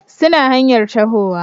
suna hanyar tahowa